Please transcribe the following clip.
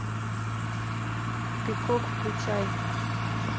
пикок включай